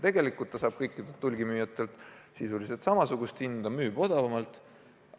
Tegelikult ta saab kõikidelt hulgimüüjatelt sisuliselt samasuguse hinnaga kaupa ja müüb odavamalt.